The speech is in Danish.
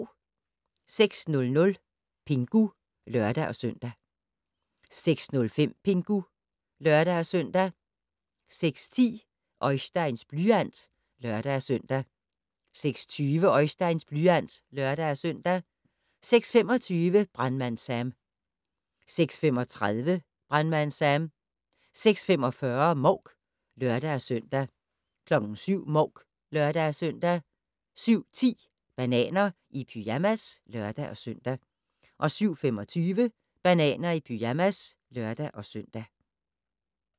06:00: Pingu (lør-søn) 06:05: Pingu (lør-søn) 06:10: Oisteins blyant (lør-søn) 06:20: Oisteins blyant (lør-søn) 06:25: Brandmand Sam 06:35: Brandmand Sam 06:45: Mouk (lør-søn) 07:00: Mouk (lør-søn) 07:10: Bananer i pyjamas (lør-søn) 07:25: Bananer i pyjamas (lør-søn)